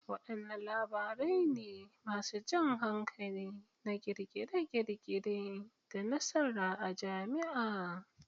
Wadanne labarai ne masu jan hankali na kirkire-kirkire da nasara a jami'a?